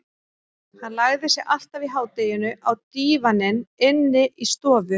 Hann lagði sig alltaf í hádeginu á dívaninn inni í stofu.